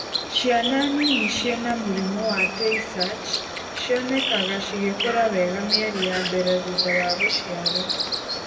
Ciana nini cina mũrimũ wa Tay Sachs cionekanaga cigĩkũra wega mĩeri ya mbere thutha wa gũciarwo.